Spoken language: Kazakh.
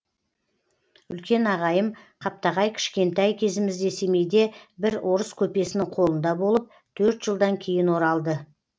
үлкен ағайым қаптағай кішкентай кезімізде семейде бір орыс көпесінің қолында болып төрт жылдан кейін оралды